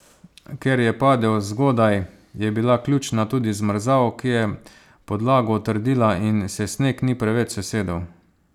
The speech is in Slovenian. Ker je padel zgodaj, je bila ključna tudi zmrzal, ki je podlago utrdila in se sneg ni preveč sesedel.